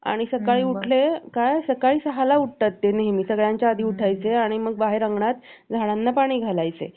बरं वाटतंय आता. हं एक minute